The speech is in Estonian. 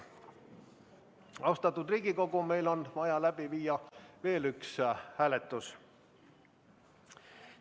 Austatud Riigikogu, meil on vaja läbi viia veel üks hääletus.